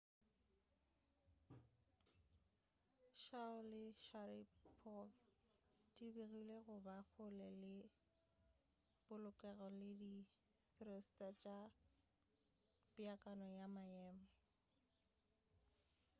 chiao le sharipov di begilwe go ba kgole ka polokego le di-thruster tša peakanyo ya maemo